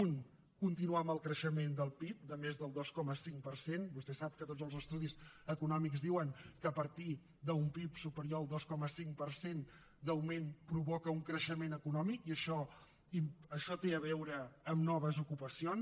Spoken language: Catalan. un continuar amb el creixement del pib de més del dos coma cinc per cent vostè sap que tots els estudis econòmics diuen que a partir d’un pib superior al dos coma cinc per cent d’augment provoca un creixement econòmic i això té a veure amb noves ocupacions